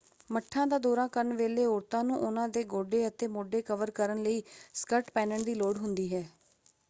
ਮੱਠਾਂ ਦਾ ਦੌਰਾ ਕਰਨ ਵੇਲੇ ਔਰਤਾਂ ਨੂੰ ਉਹਨਾਂ ਦੇ ਗੋਢੇ ਅਤੇ ਮੋਢੇ ਕਵਰ ਕਰਨ ਲਈ ਸਕਰਟ ਪਹਿਨਣ ਦੀ ਲੋੜ ਹੁੰਦੀ ਹੈ।